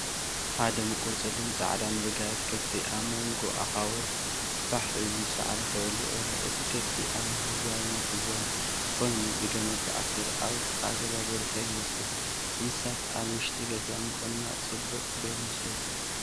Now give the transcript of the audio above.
ሓደ ምቁር ጸሊምን ጻዕዳን ብጋይት ከፍቲ ኣብ መንጎ ኣኻውሕ ፋሕ ኢሉ ሳዕሪ ክበልዕ ይርአ። እቲ ኸፍቲ ኣብ ህዝባዊ መኽዘን ኮይኑ፡ ብገመድ ተኣሲሩ፡ ኣብ ጥቓ ገዛ ዝርከብ ይመስል። እንስሳታት ኣብ ውሽጢ ገዛ ምቕማጥ ጽቡቕ ዶ ይመስለካ?